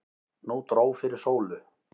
Nú dró fyrir sólu.